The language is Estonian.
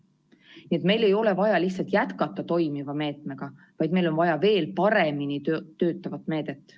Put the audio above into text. Nii et meil ei ole vaja lihtsalt jätkata toimiva meetmega, vaid meil on vaja veel paremini töötavat meedet.